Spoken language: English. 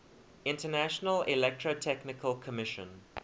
international electrotechnical commission